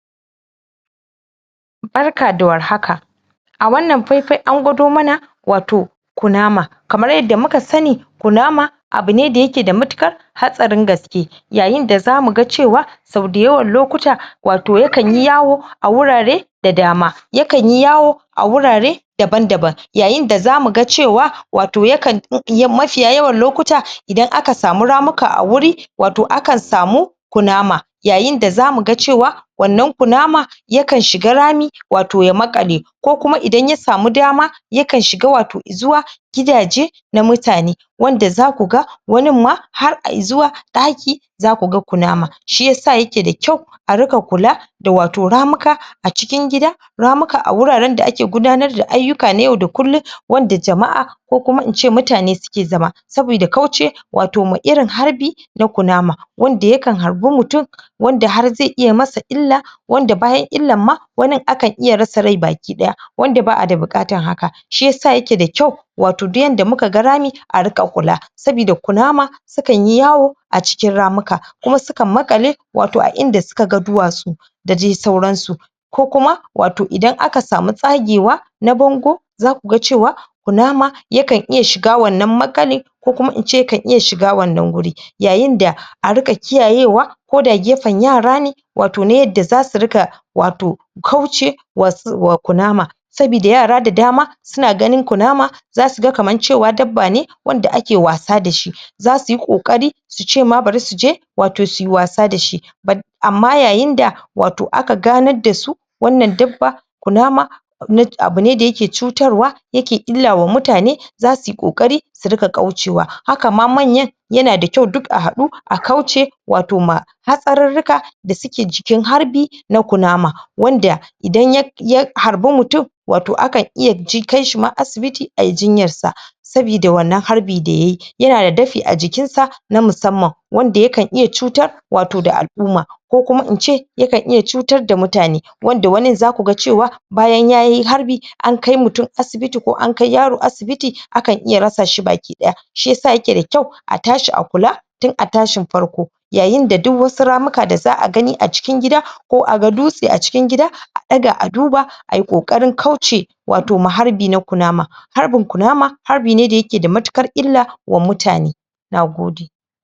Barka da warhaka a wannan faifai an gwado mana wato kunama kamar yadda mu ka sani kunama abu ne da ya ke da matukar hatsarin gaske yayin da zamu gan cewa so dayawan lokuta wato ya kan yi yawo a wurare da dama ya kan yi yawo a wurare daban daban yayin da za mu gan cewa wato ya kan yin, mafiya lokuta idan a ka samu ramuka a wuri wato akan samu kunama yayin da za mu ga cewa wannan kunama ya kan shiga rami wato ya makale ko kuma, idan ya samu dama ya kan shiga wato zuwa gidaje na mutane wanda za ku gan wannin ma har izuwa daki za ku gan kunama shiyasa ya ke da kyau a ruka kula da wato ramuka a cikin ramuka ramuka a wuraren da ake gudanar ayuka na yau da kullum wanda jama'a ko kuma in ce mutane suke zama sabida kauce wato ma irin harbi na kunama wanda ya kan harbi mutum wanda har zai iya masu illa wanda bayan illan ma wannin a kan iya rasa rai bakidaya wanda ba a da bukatan haka shiyasa ya ke da kyau wato duk yanda muka gan rami a ruka kula sabida kunama su kan yi yawo a cikin ramuka kuma su kan makale wato a inda su ka gan duwatsu da dai sauran su ko kuma wato idan aka samu zage wa na bango za ku gan cewa kunama ya kan iya shiga wannan makalle ko kuma in ce, kan iya shiga wannan wuri yayin da a ruka kiyaye wa ko da gefen yara ne wato na yadda za su ruka wato kauce wa kunama sabida yara da dama su na ganin kunama za su gan cewa kaman dabba ne wanda ake wasa da shi za su yi kokari su ce ma, bari su je wato su yi wasa da shi ama yayin da wato aka ganar da su wannan dabba kunama na, abu ne da ya ke cutar wa ya ke illa wa mutane za su yi kokari su ruka kauce wa, haka ma manyan ya na da kyau, duk a hadu, a kauce wato ma hatsararuka da su ke jikin harbi na kunama wanda idan ya, ya harbi mutum wato a kan iya ji, kai shi ma asibiti, ayi jinyar sa sabida wannan harbi, da ya yi, ya na da dafi a jikin sa na masamman wanda ya kan iya cutar wato da al'uma ko kuma in ce ya kan iya cutar da mutane wanda wanin za ku ga cewa bayan ya yi harbi an kai mutum asibiti ko an kai yaro asibiti, a kan iya rasa shi bakidaya shiyasa ya ke da kyau tashi a kula tun a tashin farko yayin da duk wasu ramuka da za a gani a cikin gida ko a gan dutse a cikin gida a daga a duba, ayi kokarin kauce wato ma harbi na kunama harbin kunama harbi ne da ya ke da matukar illa wa mutane na gode